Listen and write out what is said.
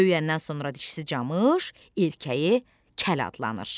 Böyüyəndən sonra dişisi camış, erkəyi kəl adlanır.